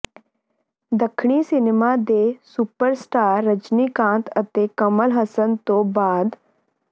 ਦੱਖਣੀ ਸਿਨੇਮਾ ਦੇ ਸੁਪਰਸਟਾਰ ਰਜਨੀਕਾਂਤ ਅਤੇ ਕਮਲ ਹੱਸਨ ਤੋਂ ਬਾਅਦ